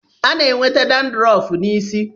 A na-enweta dadrọf n'isi.